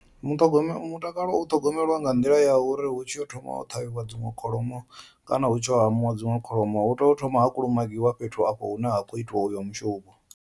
Muṱhogome mutakalo u ṱhogomelwa nga nḓila ya uri hu tshi yo thoma u ṱhavhiwa dziṅwe kholomo kana hu tshi yo hamiwa dziṅwe kholomo hu tea u thoma ha kulumagiwa fhethu afho hune ha khou itiwa uyo mushumo.